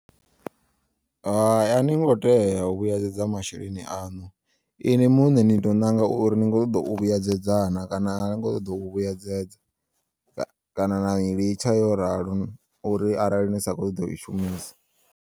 Hai ani ngo tea u vhuyedzedza masheleni aṋu, ini muṋe ni to ṋanga uri ni kho u ṱoḓa u vhuyedzedza na kana ani kho ṱoḓa u vhuyedzedza ka kana nai litsha yo ralo uri arali ni sa kho ṱoḓa uyi shumisa.